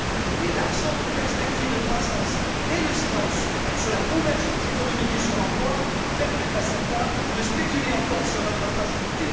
Mais l'absence de perspectives de croissance et le silence sur la convergence économique et sur l'emploi permettent à certains de spéculer encore sur notre fragilité.